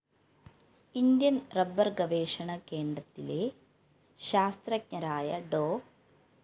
Indian‍ റബ്ബര്‍ഗവേഷണകേണ്ടത്തിലെ ശാസ്ത്രജ്ഞരായ ഡോ